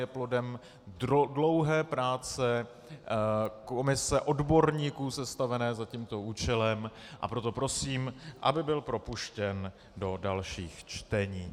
Je plodem dlouhé práce komise odborníků sestavené za tímto účelem, a proto prosím, aby byl propuštěn do dalších čtení.